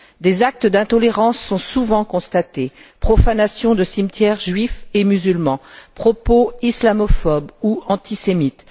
Des actes d'intolérance sont souvent constatés profanations de cimetières juifs et musulmans, propos islamophobes ou antisémites.